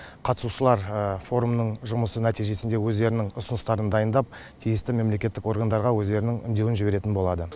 қатысушылар форумның жұмысы нәтижесінде өздерінің ұсыныстарын дайындап тиісті мемлекеттік органдарға өздерінің үндеуін жіберетін болады